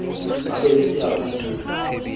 ba be le seabo se